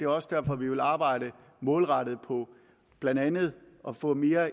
også derfor at vi vil arbejde målrettet på blandt andet at få mere